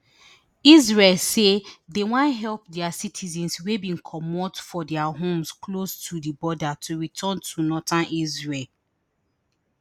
israel say dem wan help dia citizens wey bin comot for dia homes close to di border to return to northern israel